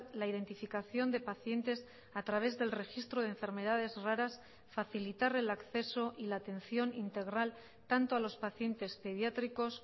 la identificación de pacientes a través del registro de enfermedades raras facilitar el acceso y la atención integral tanto a los pacientes pediátricos